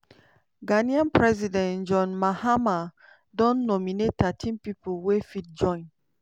ghanaian president john mahama don nominate thirteen pipo wey fit join